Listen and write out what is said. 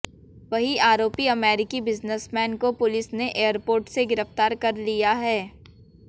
वहीं आरोपी अमेरिकी बिजनेसमैन को पुलिस ने एयरपोर्ट से गिरफ्तार कर लिया है